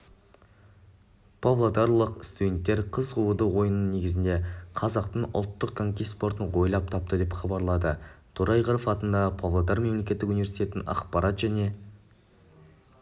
павлодарлық студенттер қыз қууды ойнының негізінде қазақтың ұлттық коньки спортын ойлап тапты деп хабарлады торайғыров атындағы павлодар мемлекеттік университетінің ақпарат және